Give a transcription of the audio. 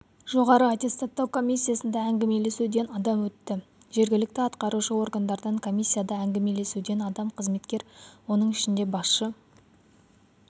жоғары аттестаттау комиссиясында әңгімелесуден адам өтті жергілікті атқарушы органдардан комиссияда әңгімелесуден адам қызметкер оның ішінде басшы